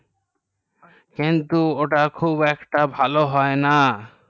কিন্তু ওটা খুব ভালো হয় না